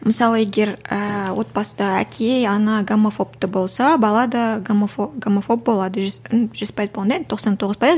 мысалы егер ііі отбасыда әке ана гомофобты болса бала да гомофоб гомофоб болады жүз жүз пайыз болғанда енді тоқсан тоғыз пайыз